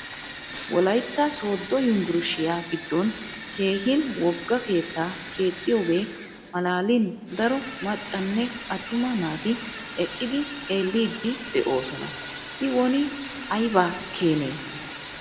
Wolaytta sooddo yumburshiya giddon keehin wogga keettaa keexiyoogee malaalin daro maccanne attuma naati eqqidi xeelliiddi de'oosona. I woni ayiba keeni?